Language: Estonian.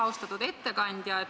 Austatud ettekandja!